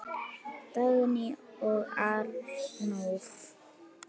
Dagný og Arnór